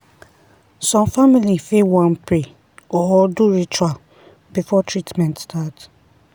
some family fit wan pray or do ritual before treatment start.